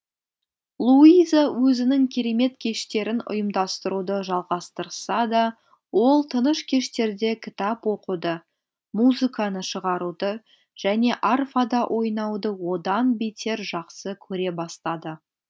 луиза өзінің керемет кештерін ұйымдастыруды жалғастырса да ол тыныш кештерде кітап оқуды музыканы шығаруды және арфада ойнауды одан бетер жақсы көре бастады